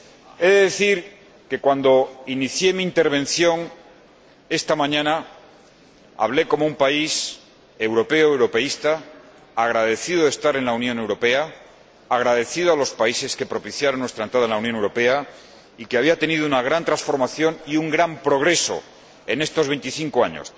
He de decir que, cuando inicié mi intervención esta mañana, hablé como un país europeo, europeísta, agradecido de estar en la Unión Europea, agradecido a los países que propiciaron nuestra entrada en la Unión Europea y que había tenido una gran transformación y un gran progreso en estos 25 años.